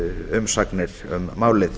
umsagnir um málið